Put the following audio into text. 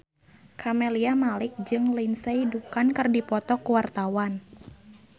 Camelia Malik jeung Lindsay Ducan keur dipoto ku wartawan